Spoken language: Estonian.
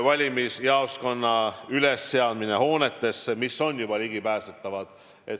Valimisjaoskonna ülesseadmine hoonetesse, mis on ligipääsetavad.